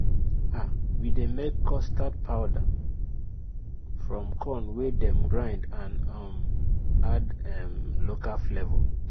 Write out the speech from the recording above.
um we dey make custard powder from corn wey dem grind and um add um local flavour